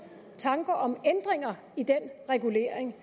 tanker om ændringer i den regulering